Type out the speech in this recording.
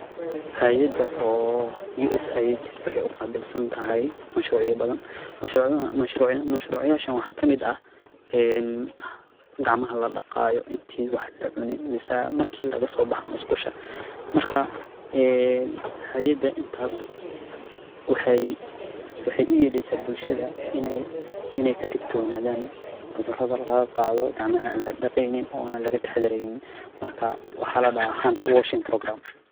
Hayada oo USAID waxaay uqaabilsantehe mashruucya badan. Mashruuc yaashaan waxaa ka mid ah gacmaha ladaqaayo intii wax lacunin mise marki lagasoo baxa musqusha. Markaa hayada intaas waxay uyeleysaa bulshada inaay kadigtoonaadaan cuduraha lagaqaado gacmaha aan ladaqeynin ona laga taxadareynin. Markaa waxaa ladahaa Hand washing program